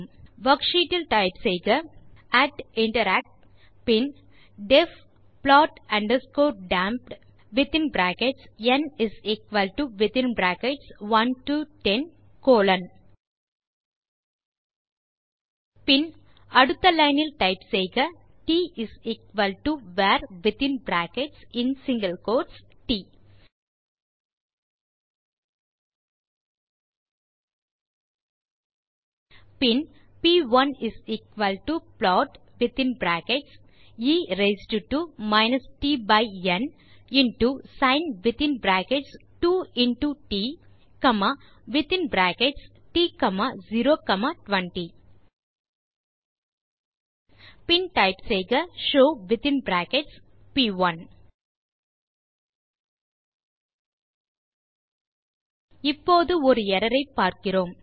worksheet இல் type செய்க interact பின் டெஃப் ப்ளாட் அண்டர்ஸ்கோர் dampedந் கோலோன் பின் அடுத்த லைன் டைப் செய்க tvarட் பின் p1plotஎ ரெய்ஸ்ட் டோ tந் இன்டோ sin2ட்ட்020 பின் டைப் செய்க ஷோவ் இப்போது ஒரு எர்ரர் ஐ பார்க்கிறோம்